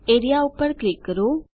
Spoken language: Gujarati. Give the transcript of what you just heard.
એઆરઇએ પર ક્લિક કરો